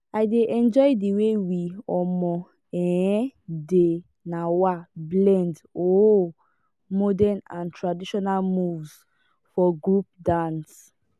i dey enjoy the way we um um dey um blend um modern and traditional moves for group dance.